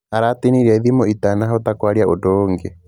Aratĩnirie thimũ itanahota kwaria ũndũ ũngĩ.